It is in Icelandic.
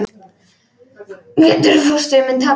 Getur fóstri minn tapað?